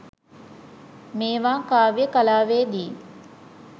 මේවා කාව්‍ය කලාවේ දී